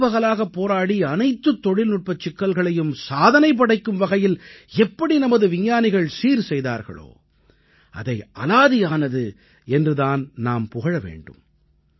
இரவு பகலாகப் போராடி அனைத்துத் தொழில்நுட்பச் சிக்கல்களையும் சாதனை படைக்கும் வகையில் எப்படி நமது விஞ்ஞானிகள் சீர் செய்தார்களோ அதை அலாதியானது என்று தான் நாம் புகழ வேண்டும்